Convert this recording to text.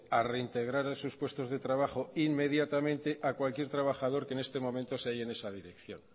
a reintegrar a sus puestos de trabajo inmediatamente a cualquier trabajador que este momento se halle en esa dirección